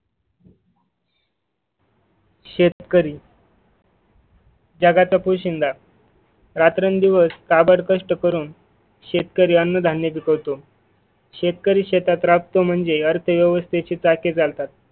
शेतकरी. जगाचा पोशिंदा रात्रं-दिवस काबड कष्ट करून शेतकरी अन्न धन्य पिकवतो शेतकरी शेतात राबतो म्हणजे अर्थव्यवस्थेची चाके चालतात.